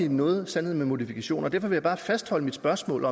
noget af en sandhed med modifikationer derfor vil jeg bare fastholde mit spørgsmål